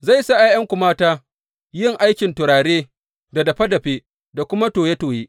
Zai sa ’ya’yanku mata yin aikin turare da dafe dafe da kuma toye toye.